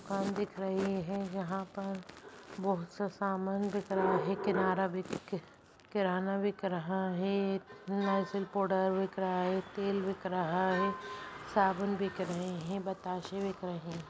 दुकान दिख रही है यहाँ पर बहुत-सा सामान बिक रहा है| किनारा बिक कि-किराना बिक रहा है नाइसिल पोडर बिक रहा है तेल बिक रहा है साबुन बिक रहे हैं बताशे बिक रहे हैं।